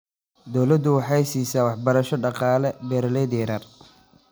Dawladdu waxay siisaa waxbarasho dhaqaale beeralayda yaryar.